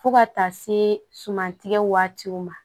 Fo ka taa se suman tigɛ waatiw ma